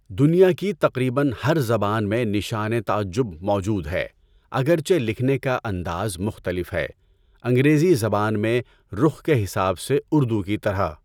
دنیا کی تقریباً ہر زبان میں نشان تعجب موجود ہے، اگرچہ لکھنے کا انداز مختلف ہے۔ انگریزی زبان میں رخ کے حساب سے اردو کی طرح!